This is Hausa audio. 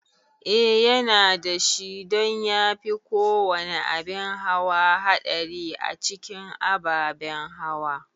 Eh yana dashi don yafi kowane abin hawa haɗari a cikin ababen hawa